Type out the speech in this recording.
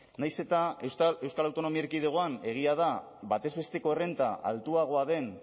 nahiz eta euskal autonomi erkidegoan egia da batez besteko errenta altuagoa den